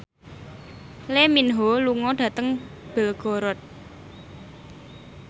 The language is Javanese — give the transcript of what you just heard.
Lee Min Ho lunga dhateng Belgorod